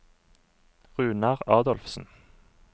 Runar Adolfsen